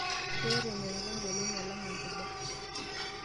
Keeta enyorrata engolon alang' enkiba.